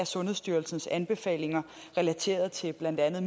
sundhedsstyrelsens anbefalinger relateret til blandt andet